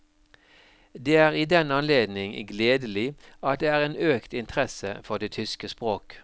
Det er i den anledning gledelig at det er en økt interesse for det tyske språk.